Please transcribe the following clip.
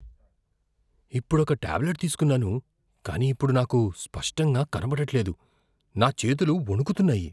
ఇప్పుడొక టాబ్లెట్ తీస్కున్నాను కానీ ఇప్పుడు నాకు స్పష్టంగా కనపడట్లేదు, నా చేతులు వణుకుతున్నాయి.